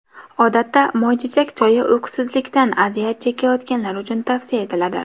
Odatda moychechak choyi uyqusizlikdan aziyat chekayotganlar uchun tavsiya etiladi.